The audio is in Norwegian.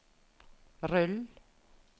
rull